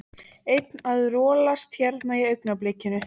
Einn að rolast hérna í augnablikinu.